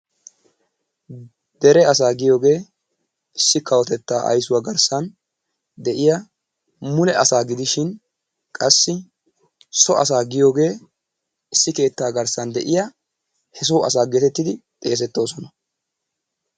Dere asaa giyoogee issi kawotettaa ayssuwa garssan de'iya mule asaa gidishin qassi so asaa giyoogee issi keettaa garssan diya he soo asaa geetettidi xeesetoosona.